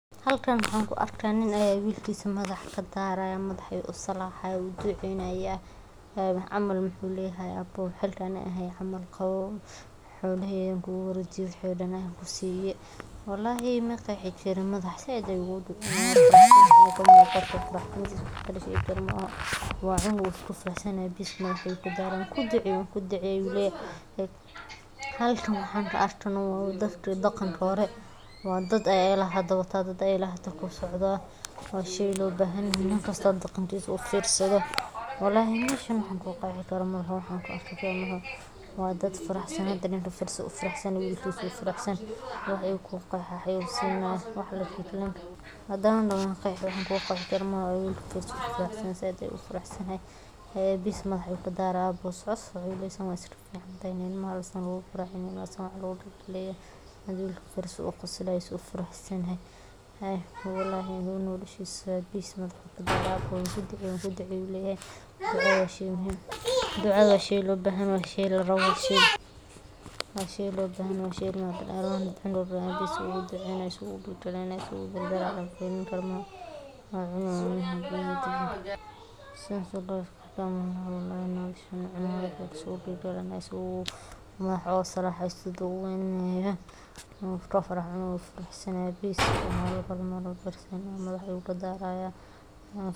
Bulshada Maasai-ga oo ah bulsho dhaqankeedu si weyn ugu saleysan yahay xushmad, wada noolaansho iyo xiriir bulsheed oo qoto dheer, waxay aad ugu dadaalaan in salaantu noqoto qayb muhiim ah oo ka mid ah dhaqankooda maalinlaha ah, waxaana ay leeyihiin nidaam salaameed u gaar ah oo lagu garto da'da, jinsiga iyo darajada qofka; marka laba qof oo Maasai ah is arkaan, gaar ahaan markii ay muddo is arag la’aayeen, waxa ay isdhaafsadaan salaamo aad u dheeraad ah oo loogu talagalay ragga, taas oo la micno ah halka dumarku ay isticmaalaan salaamo oo micnaheedu yahay waxaana sidoo kale muhiim ah in salaanta la raaciyo su’aalo caafimaad, xaalad xoolo, qoyskii, iyo deegaanka.